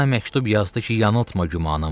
Ana məktub yazdı ki, yanıltma gümanımı.